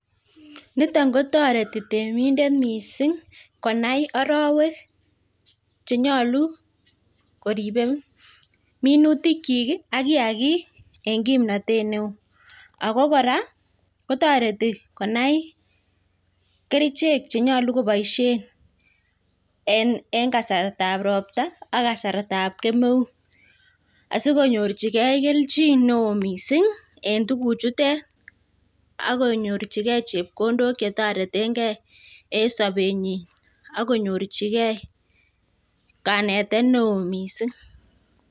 Niton kotoreti temindet mising konai arawek chenyolu koribe minutikyik ak kiyagik en kimnatet neo. Ago kora kotoreti konai kerichek chenyolu koboishen en kasartab ropta ak kasartab kemeut, asikonyorjige kelchin neo mising en tuguchutet ak konyorjige chepkondok che toretenge en sobenyin ak konyorjige kanetet neo mising.